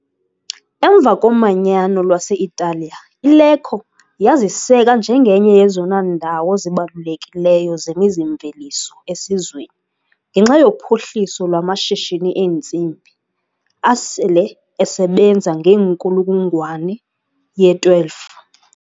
Emva koManyano lwase-Italiya, iLecco yaziseka njengenye yezona ndawo zibalulekileyo zemizi-mveliso esizweni ngenxa yophuhliso lwamashishini entsimbi, asele esebenza ngeenkulungwane ye-12.